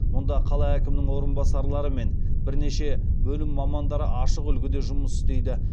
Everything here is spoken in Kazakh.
мұнда қала әкімінің орынбасарлары мен бірнеше бөлім мамандары ашық үлгіде жұмыс істейді